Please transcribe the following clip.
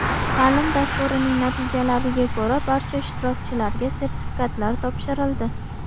Ta’lim dasturining natijalariga ko‘ra, barcha ishtirokchilarga sertifikatlar topshirildi.